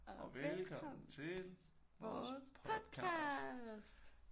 Og velkommen vores podcast